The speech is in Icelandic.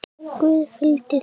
Guð fylgi þér.